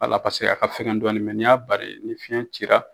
Wala paseke a ka fɛgɛn dɔɔnin mɛ n'i y'a bari ni fiɲɛ cira